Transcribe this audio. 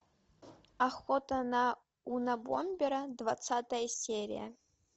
охота на унабомбера двадцатая серия